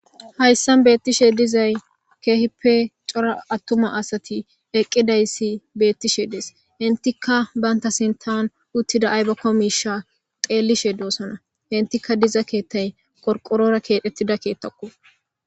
hayssan beettishe dizay keehipe cora attuma asati eqqidayssi beettishe dees entika baynta sintan uttida aybakko miisha xeellishe doossana intika diza keettay korqorora keexettida keettakko